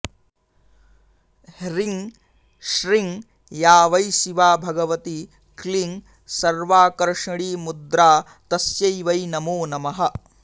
ह्रीं श्रीं या वै शिवा भगवती क्लीं सर्वाकर्षीणीमुद्रा तस्यै वै नमो नमः